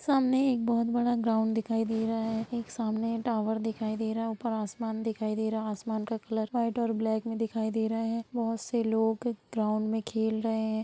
सामने एक बहुत बड़ा ग्राउन्ड दिखाई दे रहा है| एक सामने टावर दिखाई दे रहा है ऊपर आसमान दिखाई दे रहा है| आसमान का कलर रेड और ब्लैक में दिखाई दे रहा है| बहुत से लोग ग्राउन्ड में खेल रहे हैं।